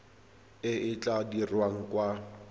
e e tla dirwang kwa